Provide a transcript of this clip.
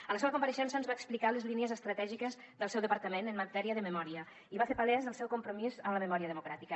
en la seua compareixença ens va explicar les línies estratègiques del seu departament en matèria de memòria i va fer palès el seu compromís amb la memòria democràtica